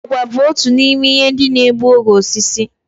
Àgwà bu otu n'ime ihe ndị na-egbu oge osisi